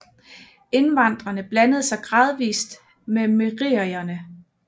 Indvandrene blandede sig gradvist med merierne